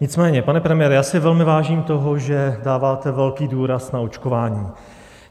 Nicméně, pane premiére, já si velmi vážím toho, že dáváte velký důraz na očkování.